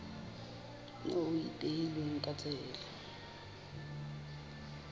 moo ho ipehilweng ka tsela